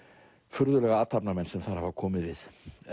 furðulega athafnamenn sem þar hafa komið við